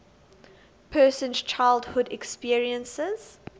person's childhood experiences